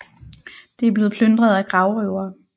Det er blevet plyndret af gravrøvere